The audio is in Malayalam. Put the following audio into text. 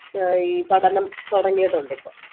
ഈ പഠനം തുടങ്ങിയിട്ടുണ്ട് ഇപ്പോ